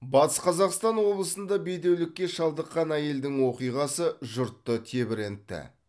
батыс қазақстан облысында бедеулікке шалдыққан әйелдің оқиғасы жұртты тебірентті